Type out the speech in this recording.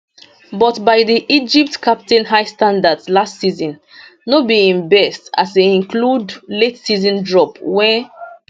but by di egypt captain high standards last season no be im best as e include lateseason drop wen